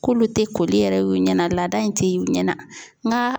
K'olu tɛ koli yɛrɛ y'u ɲɛ na laada in tɛ ye ɲɛ na nka